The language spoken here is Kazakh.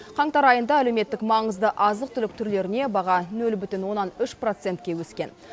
қаңтар айында әлеуметтік маңызды азық түлік түрлеріне баға нөл бүтін оннан үш процентке өскен